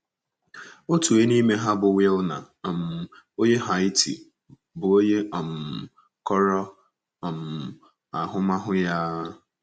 Otu onye n’ime ha bụ Wilner um onye Haiti, bụ́ onye um kọrọ um ahụmahụ ya a.